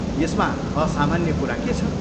यसमा असामान्य कुरा के छ?